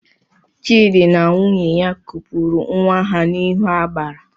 Chidi na nwunye ha kupuru nwa ha n'ihu agbara